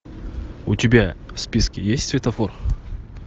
у тебя в списке есть светофор